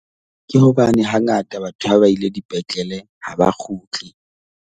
Ke hobane ha ngata batho ha ba ile dipetlele ha ba kgutle.